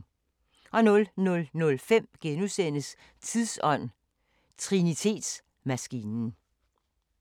00:05: Tidsånd: Trinitetsmaskinen *